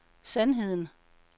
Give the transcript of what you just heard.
sandheden